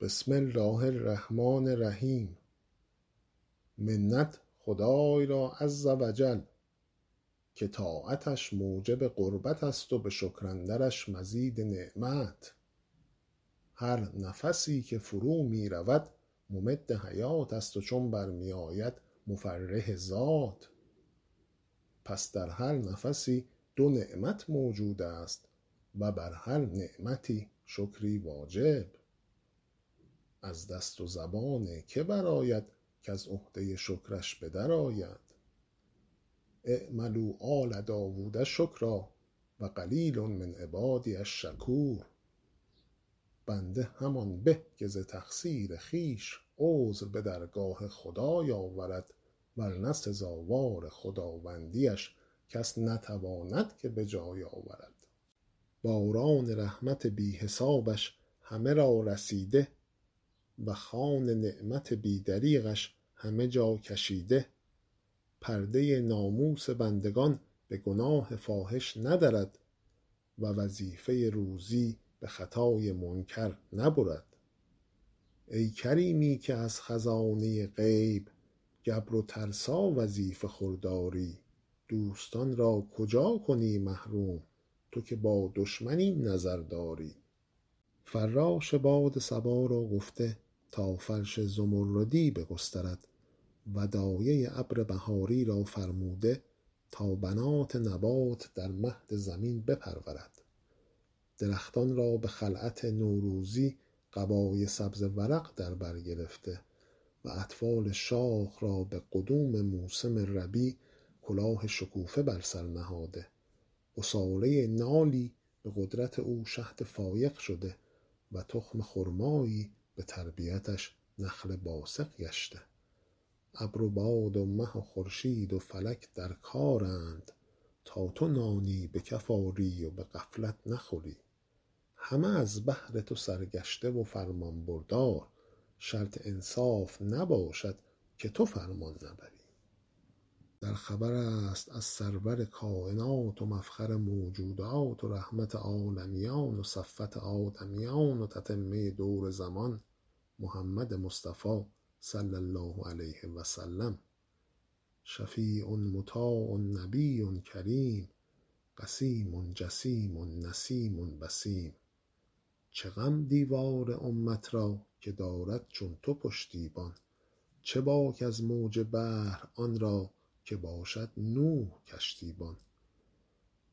بسم الله الرحمن الرحیم منت خدای را عز و جل که طاعتش موجب قربت است و به شکر اندرش مزید نعمت هر نفسی که فرو می رود ممد حیات است و چون بر می آید مفرح ذات پس در هر نفسی دو نعمت موجود است و بر هر نعمتی شکری واجب از دست و زبان که برآید کز عهده شکرش به در آید اعملوا آل داود شکرا و قلیل من عبادی الشکور بنده همان به که ز تقصیر خویش عذر به درگاه خدای آورد ور نه سزاوار خداوندی اش کس نتواند که به جای آورد باران رحمت بی حسابش همه را رسیده و خوان نعمت بی دریغش همه جا کشیده پرده ناموس بندگان به گناه فاحش ندرد و وظیفه روزی به خطای منکر نبرد ای کریمی که از خزانه غیب گبر و ترسا وظیفه خور داری دوستان را کجا کنی محروم تو که با دشمن این نظر داری فراش باد صبا را گفته تا فرش زمردی بگسترد و دایه ابر بهاری را فرموده تا بنات نبات در مهد زمین بپرورد درختان را به خلعت نوروزی قبای سبز ورق در بر گرفته و اطفال شاخ را به قدوم موسم ربیع کلاه شکوفه بر سر نهاده عصاره نالی به قدرت او شهد فایق شده و تخم خرمایی به تربیتش نخل باسق گشته ابر و باد و مه و خورشید و فلک در کارند تا تو نانی به کف آری و به غفلت نخوری همه از بهر تو سرگشته و فرمانبردار شرط انصاف نباشد که تو فرمان نبری در خبر است از سرور کاینات و مفخر موجودات و رحمت عالمیان و صفوت آدمیان و تتمه دور زمان محمد مصطفی صلی الله علیه و سلم شفیع مطاع نبی کریم قسیم جسیم نسیم وسیم چه غم دیوار امت را که دارد چون تو پشتیبان چه باک از موج بحر آن را که باشد نوح کشتی بان